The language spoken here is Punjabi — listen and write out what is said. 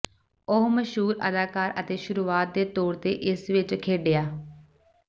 ਉਹ ਮਸ਼ਹੂਰ ਅਦਾਕਾਰ ਅਤੇ ਸ਼ੁਰੂਆਤ ਦੇ ਤੌਰ ਤੇ ਇਸ ਵਿੱਚ ਖੇਡਿਆ